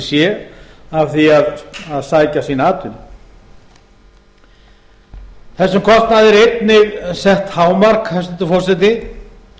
sé af því að sækja sína atvinnu þessum kostnaði er einnig sett hámark hæstvirtur forseti